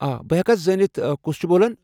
آ، بہ ہٮ۪کا زٲنِتھ کُس چُھ بولان ؟